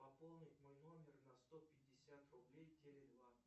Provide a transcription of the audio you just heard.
пополнить мой номер на сто пятьдесят рублей теле два